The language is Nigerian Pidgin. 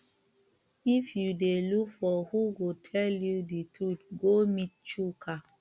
if you dey look for who go tell you the truth go meet chuka